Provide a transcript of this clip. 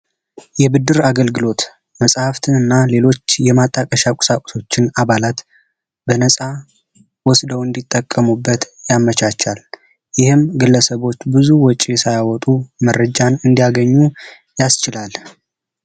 የብድር አገልግሎት መጽሐፍትንና ሌሎች የማጣቀሻ ቁሳቁሶችን አባላት በነጻ እንዲጠቀሙበት ያመቻቻል፤ ይህም ግለሰቦች ብዙ ወጪ ሳያወጡ መረጃ እንዳገኙ ያስችላል።